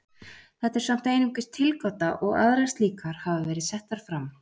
þetta er samt einungis tilgáta og aðrar slíkar hafa verið settar fram